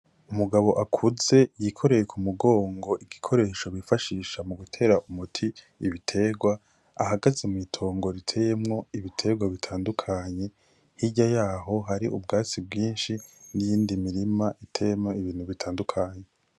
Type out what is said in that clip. Umugabo akuze yikoreye ku mugongo igikoresho bifashisha mu gutera umuti ibiterwa ahagaze mw'itongo riteyemwo ibiterwa bitandukanye hirya yaho hari ubwatsi bwinshi n'iyindi mirima iteyemwo ibintu bitandukanye.